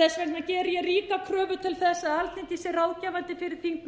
þess vegna geri ég ríka kröfu til þess að alþingi sé ráðgefandi fyrir